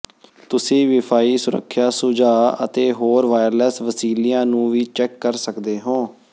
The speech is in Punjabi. ਤੁਸੀਂ ਵੀਫਾਈ ਸੁਰੱਖਿਆ ਸੁਝਾਅ ਅਤੇ ਹੋਰ ਵਾਇਰਲੈੱਸ ਵਸੀਲਿਆਂ ਨੂੰ ਵੀ ਚੈੱਕ ਕਰ ਸਕਦੇ ਹੋ